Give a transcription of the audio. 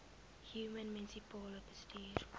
human munisipale bestuurder